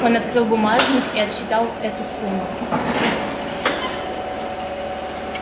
он открыл бумажник и отсчитал эту сумму